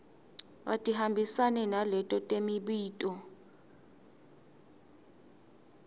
atihambisane naleto temibuto